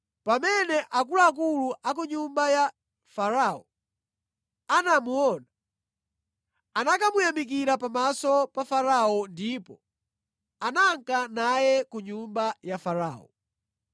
Pamene akuluakulu a ku nyumba ya Farao anamuona, anakamuyamikira pamaso pa Farao ndipo ananka naye ku nyumba ya Farao.